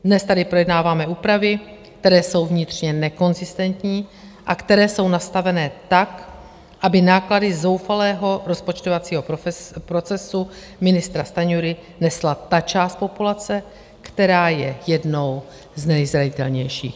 Dnes tady projednáváme úpravy, které jsou vnitřně nekonzistentní a které jsou nastavené tak, aby náklady zoufalého rozpočtovacího procesu ministra Stanjury nesla ta část populace, která je jednou z nejzranitelnějších.